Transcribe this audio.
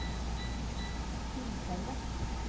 tilfellet